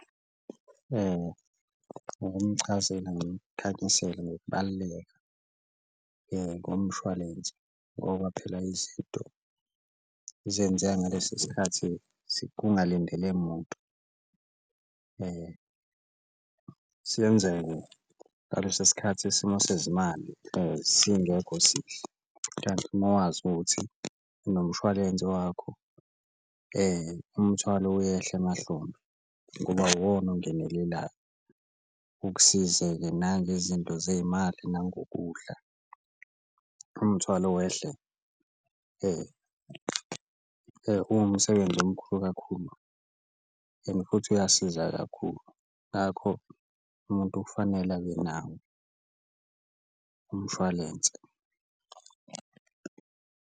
Ukumchazela ngimkhanyisele ngokubaluleka komshwalense ngoba phela izinto zenzeka ngalesi sikhathi kungalindele muntu, ngaleso sikhathi isimo sezimali singekho sihle, kanti uma wazi ukuthi nomshwalense wakho umthwalo uyehla emahlombe ngoba uwona ongenelelayo. Ukusizeke nangezinto zey'mali nangokudlala umthwalo wehle uwumsebenzi omkhulu kakhulu and futhi uyasiza kakhulu, ngakho umuntu kufanele abe nawo umshwalense.